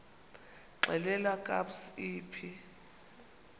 xelel kabs iphi